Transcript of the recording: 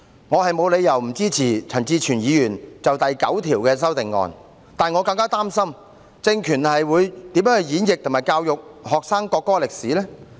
我沒有理由不支持陳志全議員就第9條提出的修正案，但我更擔心政權會如何演繹和教育學生國歌的歷史。